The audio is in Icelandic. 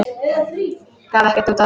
Gaf ekkert út á þetta.